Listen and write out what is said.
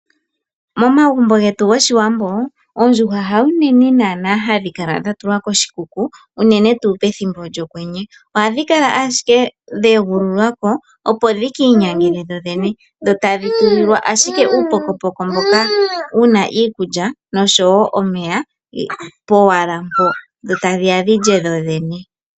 Momagumbo getu goshiwambo, oondjuhwa ha uunene hadhi kala dhatulwa koshikuku uunene tu pethimbo lyokwenye. Ohadhi kala ashike dheegululwa ko opo dhikiinyangele dhodhene, dho tadhi tulilwa ashike uupokopoko mboka wuuna iikulya nosho wo omeya powala mpo dho tadhiya dhilye dhodhene.